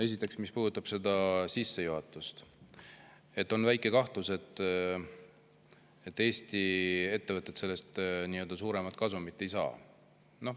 Esiteks, mis puudutab seda sissejuhatust, siis on väike kahtlus, et Eesti ettevõtted sellest suuremat kasumit ei saa.